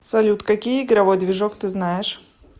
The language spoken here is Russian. салют какие игровой движок ты знаешь